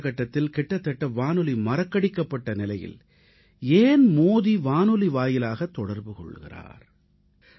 இன்றைய காலகட்டத்தில் கிட்டத்தட்ட வானொலி மறக்கடிக்கப்பட்ட நிலையில் ஏன் மோடி வானொலி வாயிலாகத் தொடர்பு கொள்கிறார் என்பதே உங்களது கேள்வி